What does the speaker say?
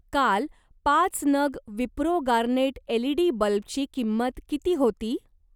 काल पाच नग विप्रो गार्नेट एलईडी बल्बची किंमत किती होती?